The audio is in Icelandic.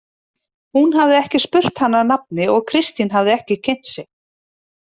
Hún hafði ekki spurt hana að nafni og Kristín hafði ekki kynnt sig.